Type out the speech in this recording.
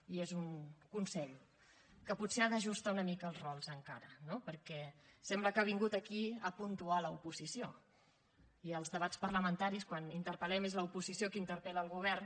i és un consell que potser ha d’ajustar una mica els rols encara no perquè sembla que ha vingut aquí a puntuar l’oposició i als debats parlamentaris quan interpel·lem és l’oposició qui interpel·la el govern